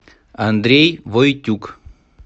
андрей войтюк